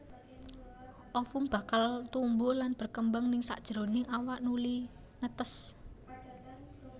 Ovum bakal tumbuh lan berkembang ning sakjeroning awak nuli netes